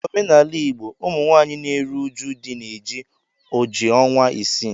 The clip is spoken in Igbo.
N' omenala Igbo, Ụmụnwaanyị na-eru uju di na-eji oji ọnwa isii